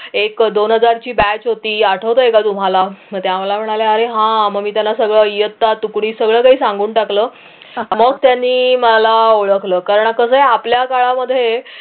एक दोन हजार ची batch होती आठवतंय का तुम्हाला मग त्या मला म्हणाल्या अरे हा मग मी त्याना सगळं इयत्ता तुकडी सगळं काही सांगून टाकलं मग त्यांनी मला ओळखलं कारण कस आहे आपल्या काळामध्ये